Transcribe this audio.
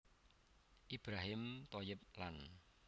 Ibrohim Thoyyib lan